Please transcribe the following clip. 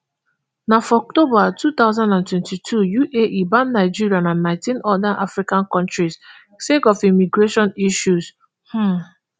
na for october two thousand and twenty-two uae ban nigeria and nineteen oda africa kontris sake of immigration issues um